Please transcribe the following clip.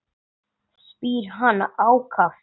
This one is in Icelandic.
spyr hann ákafur.